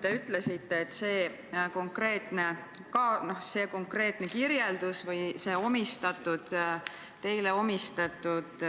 Te ütlesite, et sellel konkreetsel kirjeldusel või sellel ajakirjanduses teile omistatud